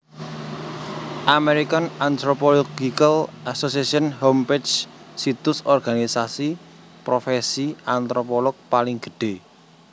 American Anthropological Association Homepage Situs organisasi profèsi antropolog paling gedhé